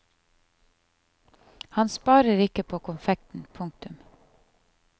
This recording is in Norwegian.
Han sparer ikke på konfekten. punktum